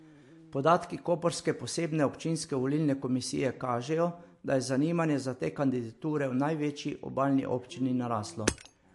Podatki koprske posebne občinske volilne komisije kažejo, da je zanimanje za te kandidature v največji obalni občini naraslo.